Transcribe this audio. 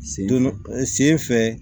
Sen don sen fɛ